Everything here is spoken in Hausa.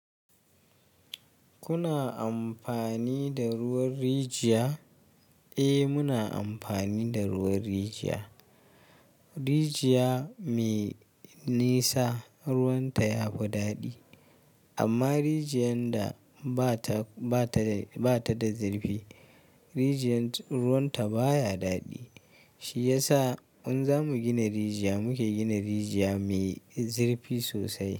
Kuna amfani da ruwan rijiya? Eh muna amfani da ruwan rijiya. Rijiya me nisa ruwan ta ya fi daɗi amma rijiyar da ba ta, ba ta, ba ta da zirfi rijiyar ruwan ta baya daɗi. Shi ya sa in za mu gina rijiya muke gina rijiya mai zirfi sosai.